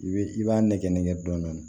I b'i i b'a nɛgɛnnɛ dɔn dɔn